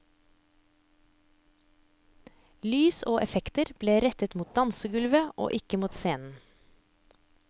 Lys og effekter ble rettet mot dansegulvet og ikke mot scenen.